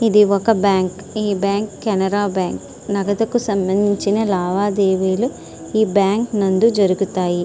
ఇది ఒక బ్యాంకు . ఈ బ్యాంకు కెనరా బ్యాంకు నగదుకు సంబందించిన లావదేవీలు ఈ బ్యాంకు నందు జరుగుతాయి.